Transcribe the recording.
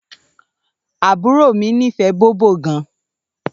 Àbúrò mi nífè bòbó gàn.